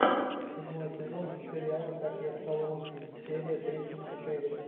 седьмой сезон сериала как я стал русским серия тридцать четыре